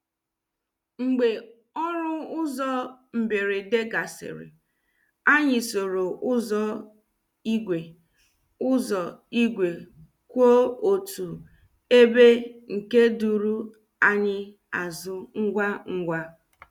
Mgbe ọrụ ụzọ mberede gasịrị, anyị soro ụzọ igwe ụzọ igwe kwụ otu ebe nke duru anyị azụ ngwa ngwa.